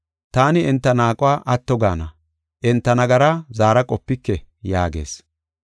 Taani enta naaquwa atto gaana; enta nagaraa zaara qopike” yaagees.